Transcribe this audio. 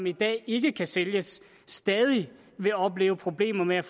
i dag ikke kan sælges stadig vil opleve problemer med